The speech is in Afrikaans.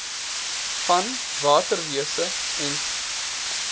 van waterwese en